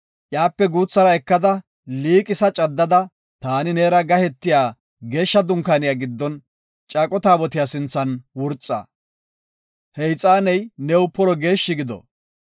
Iyape guuthara ekada liiqisa caddada, taani neera gahetiya Geeshsha Dunkaaniya giddon, Caaqo Taabotiya sinthan wurxa. He ixaaney new polo geeshshi gido.